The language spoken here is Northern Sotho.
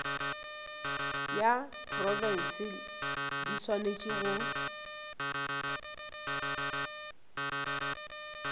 ya profense di swanetše go